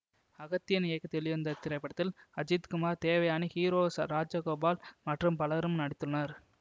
அகத்தியன் இயக்கத்தில் வெளிவந்த இத்திரைப்படத்தில் அஜித் குமார் தேவயானி ஹீரோ ராசகோபால் மற்றும் பலரும் நடித்துள்ளனர்